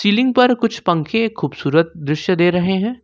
Ceiling पर कुछ पंखे खूबसूरत दृश्य दे रहे हैं।